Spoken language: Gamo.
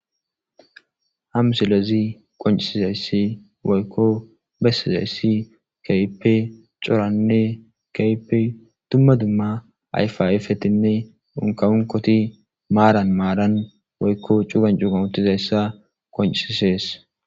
hamusilezi qoncisizayssi woykko bessizayssi kaype coranne kaype tumma dumma ayfayfetinne dunkaunkoti maaran maaran woykko cugan cuugan utizayssa qonciisees